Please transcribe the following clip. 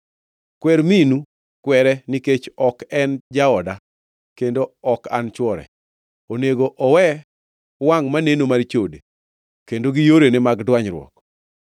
“Kwer minu, kwere, nikech ok en jaoda, kendo ok an chwore. Onego owe wangʼ maneno mar chode kendo gi yorene mag dwanyruok.